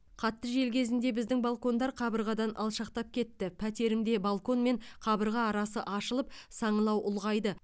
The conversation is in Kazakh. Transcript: қатты жел кезінде біздің балкондар қабырғадан алшақтап кетті пәтерімде балкон мен қабырға арасы ашылып саңылау ұлғайды